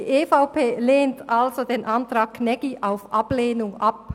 Die EVP lehnt also den Antrag Gnägi auf Ablehnung ab.